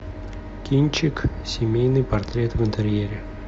кинчик семейный портрет в интерьере